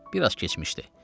Bir az keçmişdi.